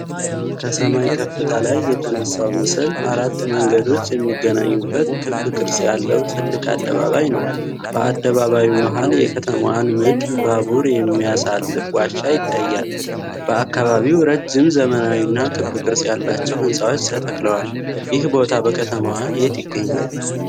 ከሰማይ ከፍታ ላይ የተነሳው ምስል አራት መንገዶች የሚገናኙበት ክብ ቅርጽ ያለው ትልቅ አደባባይ ነው። በአደባባዩ መሃል የከተማዋን ምድር ባቡር የሚያሳልፍ ዋሻ ይታያል፤ በአካባቢው ረጅም ዘመናዊና ክብ ቅርጽ ያላቸው ህንጻዎች ተተክለዋል፣ ይህ ቦታ በከተማዋ የት ይገኛል?